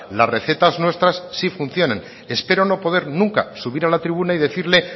las recetas nuestras sí funcionan espero no poder nunca subir a la tribuna y decirle